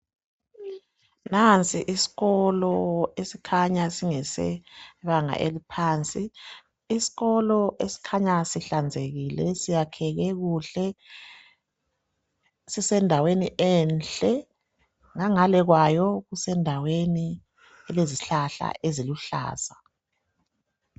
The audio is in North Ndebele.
Nansi isikolo esikhanya singesebanga eliphansi, isikolo esikhanya sihlanzekile, siyakheke kuhle, sisendaweni enhle, ngangale kwayo kusendaweni elezihlahla eziluhlaza.